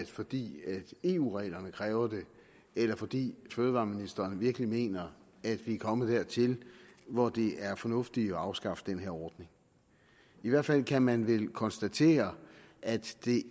fordi eu reglerne kræver det eller fordi fødevareministeren virkelig mener at vi er kommet dertil hvor det er fornuftigt at afskaffe den her ordning i hvert fald kan man vel konstatere at det